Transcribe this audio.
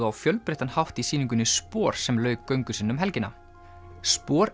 á fjölbreyttan hátt í sýningunni sem lauk göngu sinni um helgina